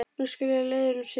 Nú skilja leiðir um sinn.